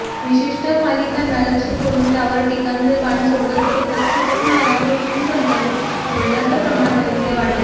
विशिष्ट मालिकांना लक्ष्य करुन त्यावर टीकांचे बाण सोडत सतत खटकणाऱ्या गोष्टींबद्दल बोलण्याचं प्रमाण अलीकडे वाढलंय